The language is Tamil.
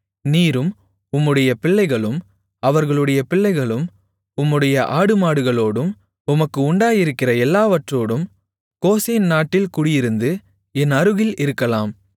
நீரும் உம்முடைய பிள்ளைகளும் அவர்களுடைய பிள்ளைகளும் உம்முடைய ஆடுமாடுகளோடும் உமக்கு உண்டாயிருக்கிற எல்லாவற்றோடும் கோசேன் நாட்டில் குடியிருந்து என் அருகில் இருக்கலாம்